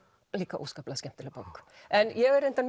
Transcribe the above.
líka óskaplega skemmtileg bók en ég er reyndar